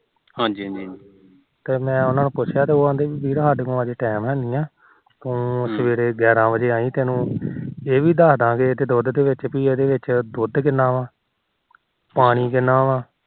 ਤੇ ਮੈ ਉਹਨਾ ਨੂੰ ਪੁਛਿਆ ਉਹ ਕਹਿੰਦੇ ਵੀਰ ਅੱਜ ਸਾਡੇ ਕੋਲ time ਹੈ ਨੀ ਹੈ ਤੂੰ ਸਵੇਰੇ ਗਿਆਰਾ ਵਜੋ ਆਈ ਤੈਨੂੰ ਇਹ ਵੀ ਦਿਖਾਦਾ ਗੇ ਕਿ ਇਹਦੇ ਵਿੱਚ ਦੁਧ ਕਿੰਨਾ ਆ ਪਾਣੀ ਕਿੰਨਾ ਆ